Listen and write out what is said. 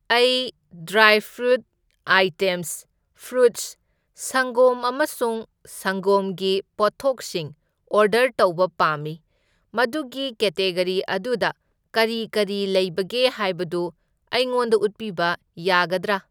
ꯑꯩ dry fruit items, fruits, ꯁꯪꯒꯣꯝ ꯑꯃꯁꯨꯡ ꯁꯪꯒꯣꯝꯒꯤ ꯄꯣꯠꯊꯣꯛꯁꯤꯡ ꯑꯣꯔꯗꯔ ꯇꯧꯕ ꯄꯥꯝꯃꯤ, ꯃꯗꯨꯒꯤ ꯀꯦꯇꯦꯒꯔꯤ ꯑꯗꯨꯗ ꯀꯔꯤ ꯀꯔꯤ ꯂꯩꯕꯒꯦ ꯍꯥꯏꯕꯗꯨ ꯑꯩꯉꯣꯟꯗ ꯎꯠꯄꯤꯕ ꯌꯥꯒꯗ꯭ꯔꯥ?